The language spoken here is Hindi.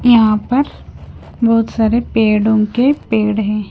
यहां पर बहोत सारे पेड़ों के पेड़ हैं।